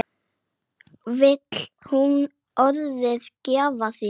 Vill hún orðið giftast þér?